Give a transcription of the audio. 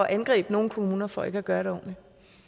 angribe nogle kommuner for ikke at gøre det ordentligt